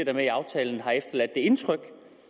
er med i aftalen har efterladt det indtryk i